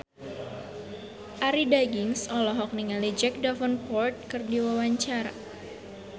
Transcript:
Arie Daginks olohok ningali Jack Davenport keur diwawancara